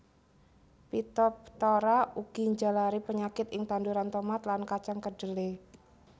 Phytophthora ugi njalari penyakit ing tanduran tomat lan kacang kedhele